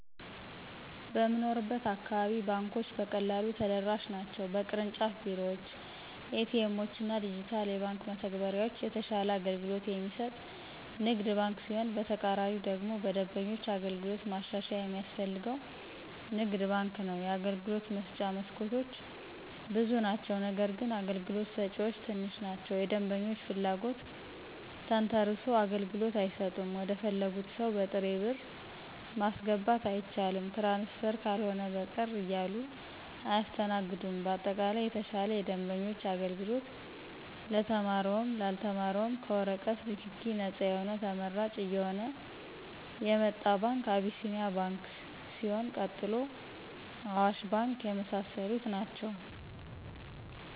በምንኖርበት አካባቢ ባንኮች በቀላሉ ተደራሽ ናቸው በቅርንጫፍ ቤሮዎች :ኤቲኤሞችና ዲጅታል የባንክ መተግበሪያዎች የተሻለ አገልግሎት የሚሰጥ ንግድ ባንክ ሲሆን በተቃራኒው ደግሞ በደንበኞች አገልግሎት ማሻሻያ የሚያስፈልገው ንግድ ባንክ ነው የአገልግሎት መስጫ መስኮቶች ብዙ ናቸው ነገርግን አገልግሎት ሰጭዎች ትንሽ ናቸው የደንበኞችን ፍለጎት ተንተሰርሶ አገልግሎት አይሰጡም ወደፈለጉት ሰው በጥሬ ብር ማስገባት አይቻልም ትራንስፈር ካልሆነ በቀር እያሉ አያሰተናግዱም በአጠቃላይ የተሻለ የደንበኞች አገልግሎት ለተማረውም ላልተማረውም ከወረቀት ነክኪ ነጻ የሆነ ተመራጭ እየሆነ የመጣ ባንክ አቢሴኒያ ባንክ ሲሆን ቀጥሎ አዋሽ ባንክ የመሳሰሉት ናቸው።